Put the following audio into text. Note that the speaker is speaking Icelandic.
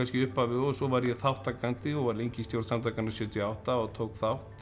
í upphafi og svo varð ég þátttakandi og var lengi í stjórn samtakanna sjötíu og átta og tók þátt